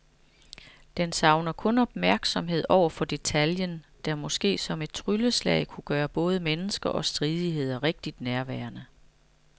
Den savner den opmærksomhed over for detaljen, der måske som et trylleslag kunne gøre både mennesker og stridigheder rigtig nærværende.